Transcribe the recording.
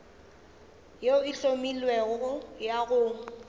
yeo e hlomilwego go ya